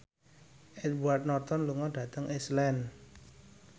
Edward Norton lunga dhateng Iceland